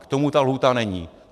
K tomu ta lhůta není.